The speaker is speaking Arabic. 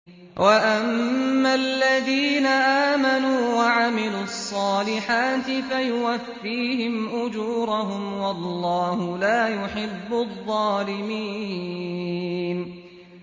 وَأَمَّا الَّذِينَ آمَنُوا وَعَمِلُوا الصَّالِحَاتِ فَيُوَفِّيهِمْ أُجُورَهُمْ ۗ وَاللَّهُ لَا يُحِبُّ الظَّالِمِينَ